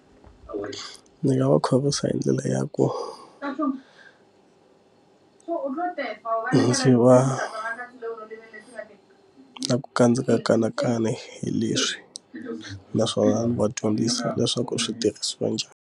Ndzi nga va khorwisa hi ndlela ya ku u lo teka ndzi va na ku kandziya kanakana hi leswi naswona ndzi va dyondzisa leswaku switirhisiwa njhani.